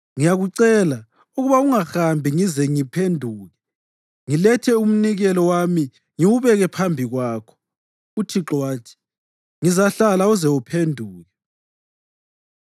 Ngiyakucela ukuba ungahambi ngize ngiphenduke ngilethe umnikelo wami ngiwubeke phambi kwakho.” UThixo wathi, “Ngizahlala uze uphenduke.”